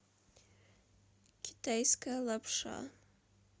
китайская лапша